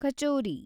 kachori